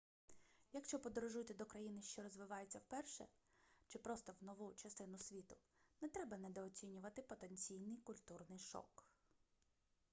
якщо подорожуєте до країни що розвивається вперше чи просто в нову частину світу не треба недооцінювати потенційний культурний шок